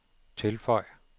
tilføj